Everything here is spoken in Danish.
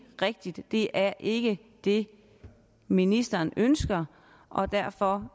rigtigt det er ikke det ministeren ønsker og derfor